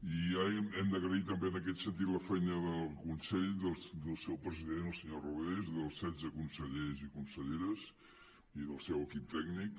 i hem d’agrair també en aquest sentit la feina del consell del seu president el senyor rodés dels setze consellers i conselleres i del seu equip tècnic